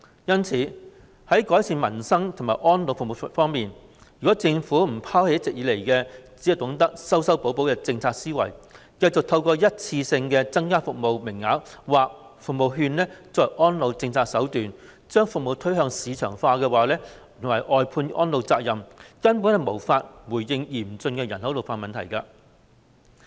因此，在改善民生和安老服務方面，如果政府不拋棄一直以來"修修補補"的政策思維，只懂得以一次性增加服務名額或服務券作為安老政策手段，將服務推向市場化及外判安老責任，根本無法回應嚴峻的人口老化問題。